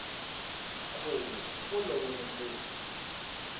khuvo wo lovolo ntombi